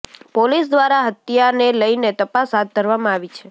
police દ્વારા હત્યાને લઈને તપાસ હાથ ધરવામાં આવી છે